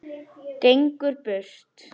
Gengur burt.